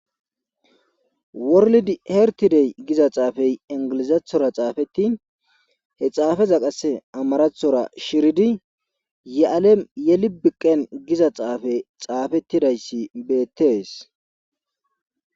Worlid hertidey giza xaafey ingilizathora xaafeti he xaafeza qase amarathora shiridi ye7alem yelibiqen giza xaafe xaafettidayssi beettees.